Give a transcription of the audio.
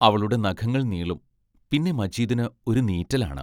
അവളുടെ നഖങ്ങൾ നീളും.പിന്നെ മജീദിന് ഒരു നീറ്റലാണ്.